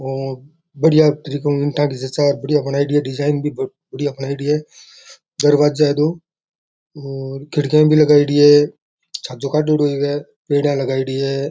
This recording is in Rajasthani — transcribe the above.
और बढ़िया त्रिकोण ईंटा की जच्चा र बढ़िया बनायेडी है डिजाइन भी बढ़िया बनायेडी है दरवाजा है दो और खिड़कियां भी लगायेड़ी है छाजो काढ़ेड़ो है पेडियां बनायेडी है।